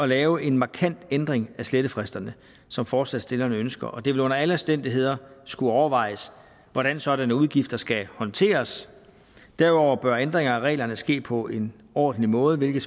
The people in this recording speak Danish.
lave en markant ændring af slettefristerne som forslagsstillerne ønsker og det vil under alle omstændigheder skulle overvejes hvordan sådanne udgifter skal håndteres derudover bør ændring af reglerne ske på en ordentlig måde hvilket